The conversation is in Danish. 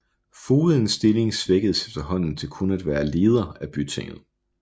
Fogedens stilling svækkedes efterhånden til kun at være leder af bytinget